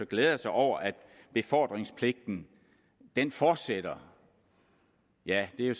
glæder sig over at befordringspligten fortsætter ja det